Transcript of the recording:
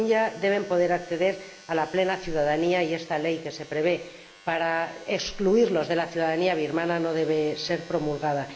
Los rohingya deben poder acceder a la plena ciudadanía y esta ley que se prevé para excluirlos de la ciudadanía birmana no debe ser promulgada.